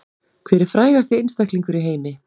Hver er frægasti einstaklingur í heimi